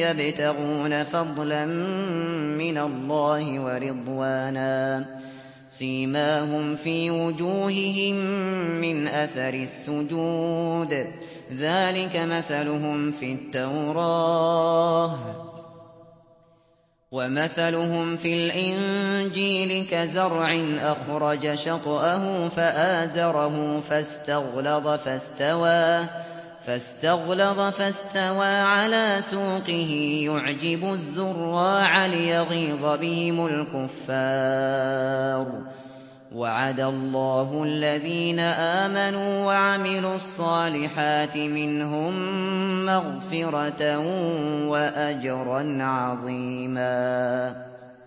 يَبْتَغُونَ فَضْلًا مِّنَ اللَّهِ وَرِضْوَانًا ۖ سِيمَاهُمْ فِي وُجُوهِهِم مِّنْ أَثَرِ السُّجُودِ ۚ ذَٰلِكَ مَثَلُهُمْ فِي التَّوْرَاةِ ۚ وَمَثَلُهُمْ فِي الْإِنجِيلِ كَزَرْعٍ أَخْرَجَ شَطْأَهُ فَآزَرَهُ فَاسْتَغْلَظَ فَاسْتَوَىٰ عَلَىٰ سُوقِهِ يُعْجِبُ الزُّرَّاعَ لِيَغِيظَ بِهِمُ الْكُفَّارَ ۗ وَعَدَ اللَّهُ الَّذِينَ آمَنُوا وَعَمِلُوا الصَّالِحَاتِ مِنْهُم مَّغْفِرَةً وَأَجْرًا عَظِيمًا